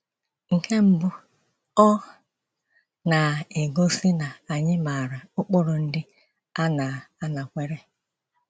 Nke mbù,ọ na -- egosi na ànyị màara ụkpụrụ ndị a na - anakwere.